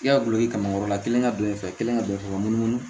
I y'a dulon i ka kan kɔrɔla kelen ka don i fɛ i kelen ka don i fɛ ka munumunu